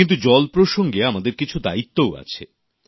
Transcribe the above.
কিন্তু জল প্রসঙ্গে আমাদের কিছু দায়িত্বও আছে